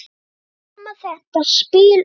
Þar kom þetta spil upp.